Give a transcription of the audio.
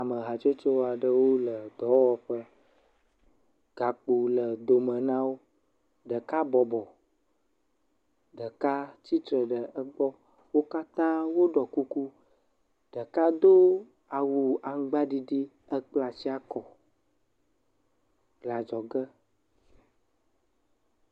Ame hatsotso aɖewo le dɔwɔƒe, gakpo le dome na wo. Ɖeka bɔbɔ, ɖeka tsitre ɖe egbɔ. Wo katã woɖɔ kuku, ɖeka do awu aŋgbaɖiɖi hekpla asi akɔ le adzɔge.